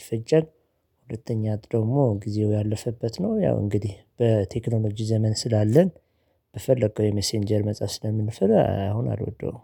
ይፈጃል። ሁለተኛ ደግሞ ጊዜው ያለፈበት ነው። ያው እንግዲህ በቴክኖሎጂ ዘመን ስላለን በፈለከው የመሰንጀር መጽሐፍ ስለምንፈል አሁን አልወደውም።